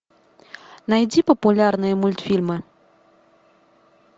найди популярные мультфильмы